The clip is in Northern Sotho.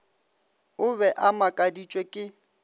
o be a makaditšwe ke